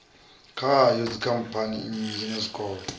khayo dzikhamphani nnzhi na zwikolo